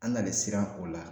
An nalen siran o la